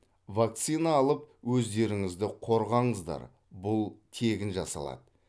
вакцина алып өздеріңізді қорғаңыздар бұл тегін жасалады